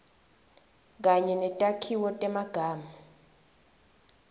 kanye netakhiwo temagama